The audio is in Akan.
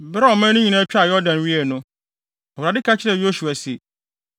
Bere a ɔman no nyinaa twaa Yordan wiei no, Awurade ka kyerɛɛ Yosua se,